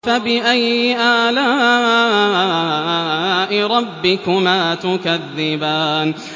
فَبِأَيِّ آلَاءِ رَبِّكُمَا تُكَذِّبَانِ